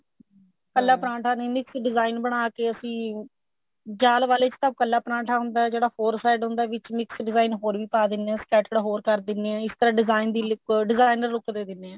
ਪਹਿਲੇ ਪਰਾਂਠਾ ਦੀ mix design ਬਣਾਕੇ ਅਸੀਂ ਜਾਲ ਵਾਲੇ ਚ ਤਾਂ ਕੱਲਾ ਪਰੋਂਠਾ ਹੁੰਦਾ ਜਿਹੜਾ four side ਹੁੰਦਾ ਵਿੱਚ mix design ਹੋਰ ਵੀ ਪਾ ਦਿਨੇ ਆ stated ਹੋਰ ਕਰ ਦਿਨੇ ਆ ਇਸ ਤਰ੍ਹਾਂ design ਦੀ look designer look ਦੇ ਦਿਨੇ ਆ